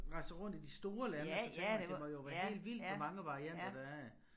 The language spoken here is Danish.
Rejser rundt i de store lande og så tænker det må jo være helt vildt hvor mange varianter der er